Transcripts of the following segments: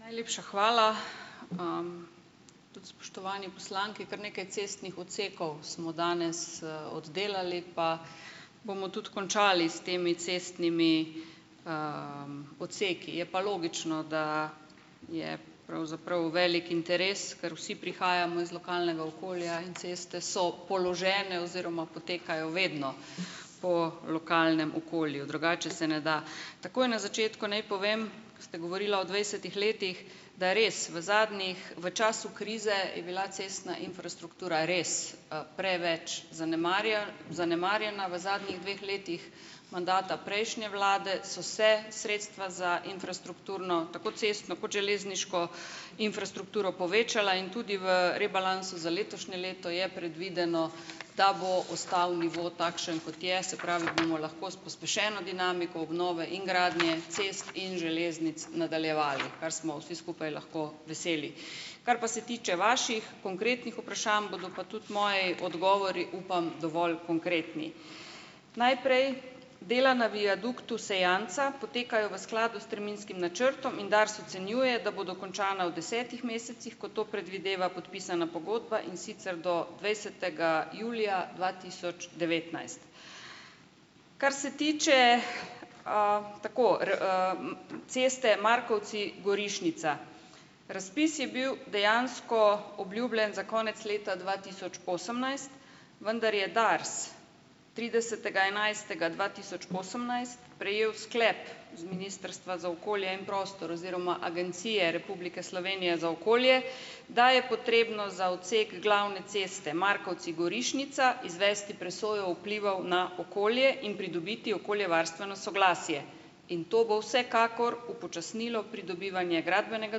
Najlepša hvala. Tudi spoštovani poslanki, kar nekaj cestnih odsekov smo danes, oddelali, pa bomo tudi končali s temi cestnimi, odseki. Je pa logično, da je pravzaprav velik interes, ker vsi prihajamo iz lokalnega okolja in ceste so položene oziroma potekajo vedno po lokalnem okolju, drugače se ne da. Takoj na začetku naj povem, ste govorila o dvajsetih letih, da je res v zadnjih, v času krize je bila cestna infrastruktura res, preveč zanemarjena, v zadnjih dveh letih mandata prejšnje vlade so se sredstva za infrastrukturo, tako cestno kot železniško infrastrukturo, povečala in tudi v rebalansu za letošnje leto je predvideno, da bo ostal nivo takšen, kot je, se pravi, bomo lahko s pospešeno dinamiko obnove in gradnje cest in železnic nadaljevali, kar smo vsi skupaj lahko veseli. Kar pa se tiče vaših konkretnih vprašanj, bodo pa tudi moji odgovori, upam, dovolj konkretni. Najprej dela na viaduktu Sejanca potekajo v skladu s terminskim načrtom in Dars ocenjuje, da bodo končana v desetih mesecih, kot to predvideva podpisana pogodba, in sicer do dvajsetega julija dva tisoč devetnajst. Kar se tiče, tako r, ,ceste Markovci-Gorišnica. Razpis je bil dejansko obljubljen za konec leta dva tisoč osemnajst, vendar je Dars tridesetega enajstega dva tisoč osemnajst prejel sklep z ministrstva za okolje in prostor oziroma Agencije Republike Slovenije za okolje, da je potrebno za odsek glavne ceste Markovci-Gorišnica, izvesti presojo vplivov na okolje in pridobiti okoljevarstveno soglasje, in to bo vsekakor upočasnilo pridobivanje gradbenega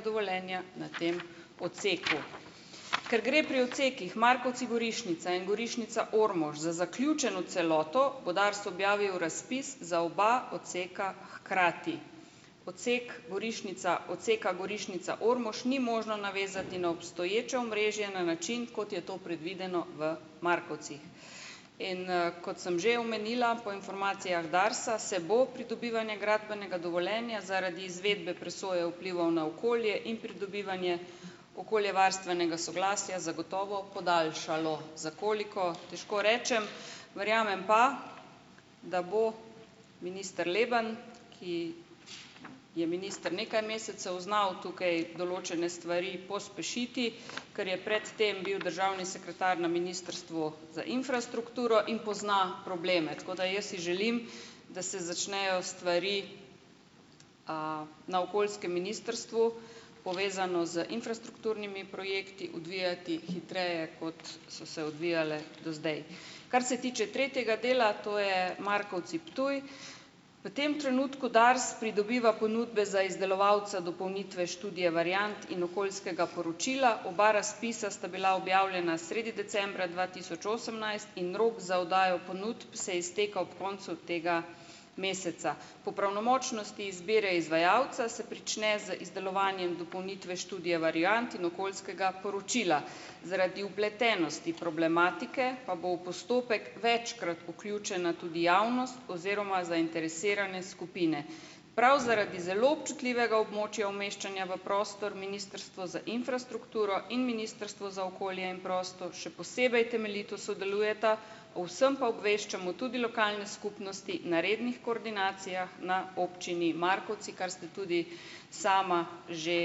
dovoljenja na tem odseku. Ker gre pri odsekih Markovci-Gorišnica in Gorišnica-Ormož za zaključeno celoto, bo Dars objavil razpis za oba odseka hkrati. Odsek Gorišnica, odseka Gorišnica-Ormož ni možno navezati na obstoječe omrežje na način, kot je to predvideno v Markovcih. In, kot sem že omenila, po informacijah Darsa se bo pridobivanje gradbenega dovoljenja zaradi izvedbe presoje vplivov na okolje in pridobivanje okoljevarstvenega soglasja zagotovo podaljšalo. Za koliko, težko rečem, verjamem pa, da bo minister Leben, ki je minister nekaj mesecev, znal tukaj določene stvari pospešiti, ker je pred tem bil državni sekretar na Ministrstvu za infrastrukturo in pozna probleme, tako da, jaz si želim, da se začnejo stvari, na okoljskem ministrstvu, povezano z infrastrukturnimi projekti, odvijati hitreje, kot so se odvijale do zdaj. Kar se tiče tretjega dela, to je Markovci-Ptuj. V tem trenutku Dars pridobiva ponudbe za izdelovalca dopolnitve študije variant in okoljskega poročila. Oba razpisa sta bila objavljena sredi decembra dva tisoč osemnajst in rok za oddajo ponudb se izteka ob koncu tega meseca. Po pravnomočnosti izbire izvajalca se prične z izdelovanjem dopolnitve študije variant in okoljskega poročila. Zaradi vpletenosti problematike pa bo v postopek večkrat vključena tudi javnost oziroma zainteresirane skupine. Prav zaradi zelo občutljivega območja umeščanja v prostor Ministrstvo za infrastrukturo in Ministrstvo za okolje in prostor še posebej temeljito sodelujeta, o vsem pa obveščamo tudi lokalne skupnosti na rednih koordinacijah na občini Markovci, kar ste tudi sama že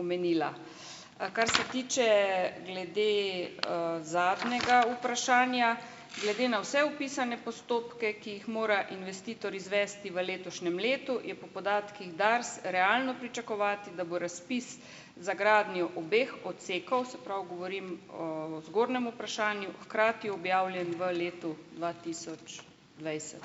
omenila. Kar se tiče glede, zadnjega vprašanja - glede na vse opisane postopke, ki jih mora investitor izvesti v letošnjem letu, je po podatkih DARS realno pričakovati, da bo razpis za gradnjo obeh odsekov, se pravi, govorim o zgornjem vprašanju, hkrati objavljen v letu dva tisoč dvajset.